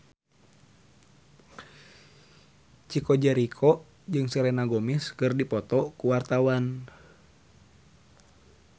Chico Jericho jeung Selena Gomez keur dipoto ku wartawan